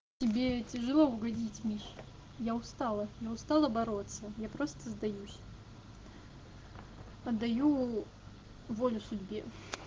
тебе тяжело угодить миш я устала я устала бороться я просто сдаюсь отдаю волю судьбе